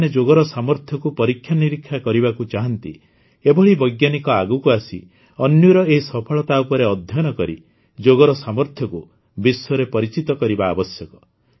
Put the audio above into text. ଯେଉଁମାନେ ଯୋଗର ସାମର୍ଥ୍ୟକୁ ପରୀକ୍ଷା ନିରୀକ୍ଷା କରିବାକୁ ଚାହାନ୍ତି ଏଭଳି ବୈଜ୍ଞାନିକ ଆଗକୁ ଆସି ଅନ୍ୱୀର ଏହି ସଫଳତା ଉପରେ ଅଧ୍ୟୟନ କରି ଯୋଗର ସାମର୍ଥ୍ୟକୁ ବିଶ୍ୱରେ ପରିଚିତ କରିବା ଆବଶ୍ୟକ